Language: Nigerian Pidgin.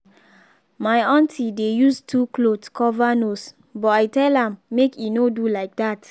my aunty dey use two cloth cover nose but i tell am make e no do like that.